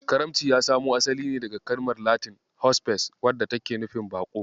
Karamci ya samo asali ne daga kalmar Latin "Hospes" wadda take nufin "Baƙo".